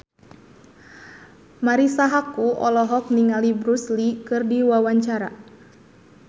Marisa Haque olohok ningali Bruce Lee keur diwawancara